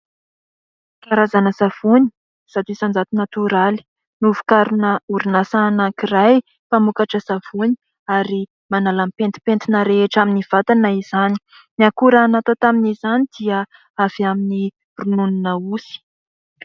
Karazana savony zato isan-jato natoraly novokarina orinasa anankiray mpamokatra savony ary manala ny petipentina rehetra amin'ny vatana izany, ny akora natao tamin'izany dia avy amin'ny rononona osy.